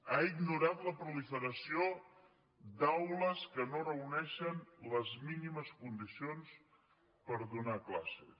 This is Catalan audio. ha ignorat la proliferació d’aules que no reuneixen les mínimes condicions per donar classes